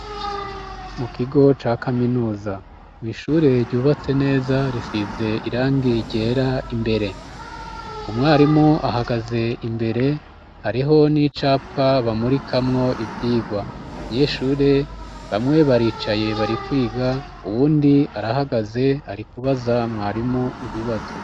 Mu kigo ca kaminuza, mwishure ryubatse neza risize irangi ryera imbere. Umwarimu ahagaze imbere, hariho n'icapa bamurikamwo ivyirwa. Abanyeshure bamwe baricaye bari kwiga, uwundi arahagaze arikubaza mwarimu ibibazo.